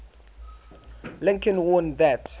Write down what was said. lincoln warned that